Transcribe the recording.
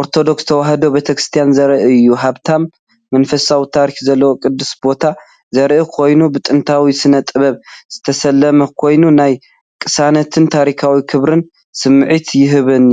ኦርቶዶክስ ተዋህዶ ቤተክርስትያን ዘርኢ እዩ። ሃብታም መንፈሳዊ ታሪኽ ዘለዎ ቅዱስ ቦታ ዘርኢ ኮይኑ ብጥንታዊ ስነ-ጥበብ ዝተሰለመ ኮይኑ፡ ናይ ቅሳነትን ታሪኻዊ ክብርን ስምዒት ይህበኒ፡፡